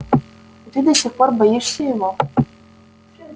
и ты до сих пор боишься его